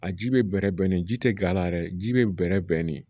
A ji bɛ bɛrɛ bɛn nin ji tɛ g'ala yɛrɛ ji bɛ bɛrɛ bɛn nin